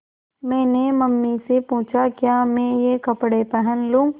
मैंने मम्मी से पूछा क्या मैं ये कपड़े पहन लूँ